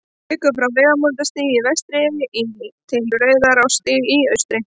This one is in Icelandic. liggur frá vegamótastíg í vestri til rauðarárstígs í austri